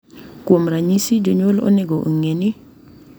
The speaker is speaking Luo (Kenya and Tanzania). Kuom ranyisi, jonyuol onego ong’e ni .